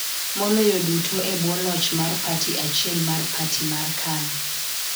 Maloyo duto e bwo loch mar parti achiel mar parti mar KANU .